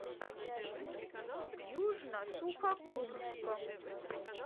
южно сухокумском